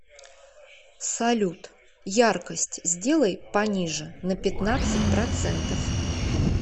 салют яркость сделай пониже на пятнадцать процентов